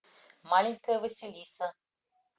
маленькая василиса